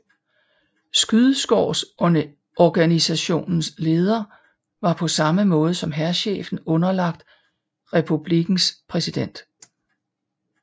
Skyddskårsorganisationens leder var på samme måde som hærchefen underlagt republikkens præsident